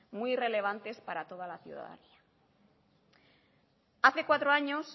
muy relevantes para toda la ciudadanía hace cuatro años